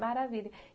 Maravilha.